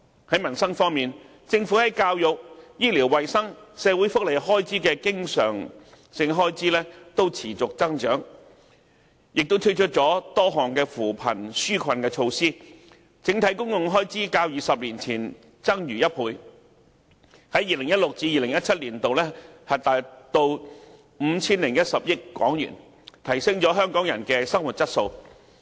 在民生方面，政府在教育、醫療衞生及社會福利的經常開支均持續增長，政府也推出了多項扶貧紓困措施，整體公共開支較20年前增逾1倍，在 2016-2017 年度達 5,010 億港元，提升了香港人的生活質素。